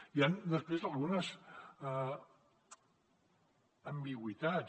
hi han després algunes ambigüitats